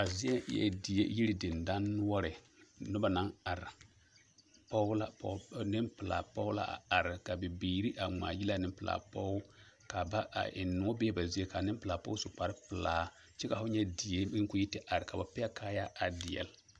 A zie eɛ die yiri dendɔnoɔre noba na are pɔɡe la nempelaa pɔɡe la a are ka bibiiri a ŋmaaɡyili a nempelaa pɔɡe ka ba a ennoɔ bee ba zie ka nempelaa pɔɡe su kparepelaa kyɛ fo nyɛ die ka o yi are ka ba pɛɡe kaayaa a deɛle.